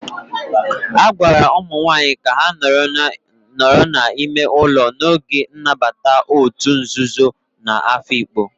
A gwara ụmụ nwanyị ka ha nọrọ n'ime ụlọ n'oge nnabata òtù nzuzo na Afikpo.